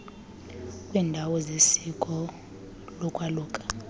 kwiiindawo zesiko lokwaluka